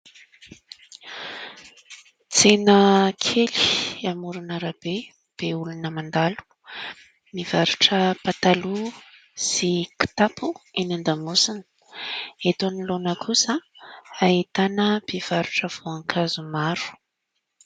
Tsena kely amoron'arabe be olona mandalo. Mivarotra pataloha sy kitapo eny an-damosina. Eto anoloana kosa ahitana mpivarotra voankazo maro.